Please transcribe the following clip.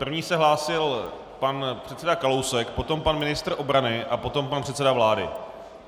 První se hlásil pan předseda Kalousek, potom pan ministr obrany a potom pan předseda vlády.